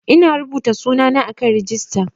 Ina rubuta sunana a kan rijista